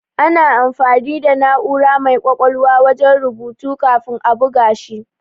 Ana amfani da na'ura mai ƙwaƙwalwa wajen rubutu kafin a buga shi.